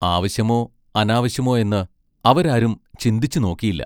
ആവശ്യമോ അനാവശ്യമോ എന്ന് അവരാരും ചിന്തിച്ചു നോക്കിയില്ല.